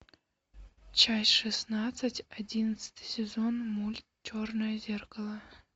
часть шестнадцать одиннадцатый сезон мульт черное зеркало